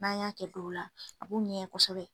N'a y'a kɛ don dɔ la a b'u ŋɛɲɛ kosɛbɛ